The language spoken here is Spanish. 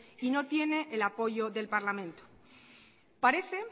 y no tiene el apoyo del parlamento parece